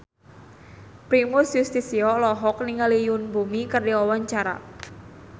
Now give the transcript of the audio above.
Primus Yustisio olohok ningali Yoon Bomi keur diwawancara